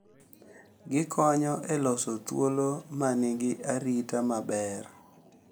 Gikonyo e loso thuolo ma nigi arita maber